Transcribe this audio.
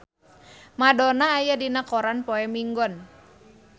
Madonna aya dina koran poe Minggon